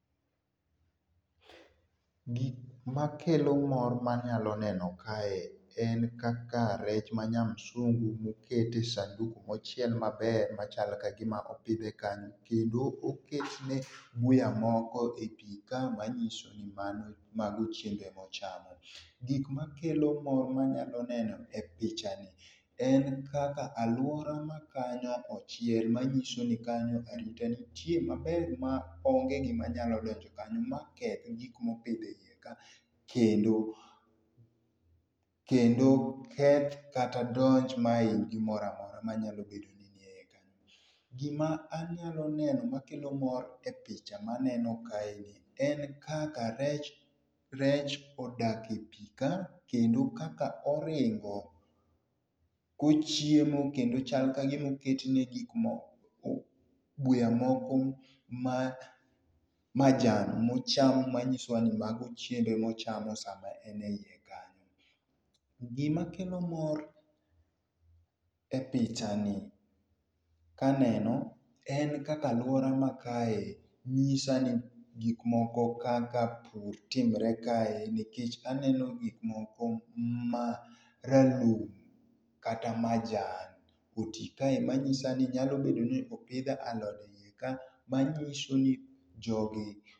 Gik makelo mor manyalo neno kae en kaka rech ma nya msungu oket e sanduk mochiel maber machalo kagima opidhe kanyo kendo oketne buya moko e pii ka manyiso ni mago chiembe mochamo. Gik makelo mor manyalo neno e picha ni en kaka aluora makanyo ochiel manyiso ni kanyo arita nitie maber maonge gima nyalo donjo kanyo maketh gik mopidh e iye kaa kendo kendo keth kata donj mahiny gimoro amora manyalo bedo ni ni eiye kanyo. Gima anyalo neno makelo mor e picha maneno ka eni en kaka rech rech odak e pii kaa kendo kaka oringo kochiemo kendo chal kagima oketne gik mo oo buya moko ma majan mochan manyiso ni mago chiembe mochamo sama en e iye kanyo. Gima kelo mor e picha ni kaneno en kaka aluora ma kae nyisa ni gik moko kaka timre kae nikech aneno gik moko kaka pur timre kae nikech aneno gik moko maralum kata majan oti kae manyisa ni nyalo bedo ni opidh alode eiye kaa manyiso ni jogi.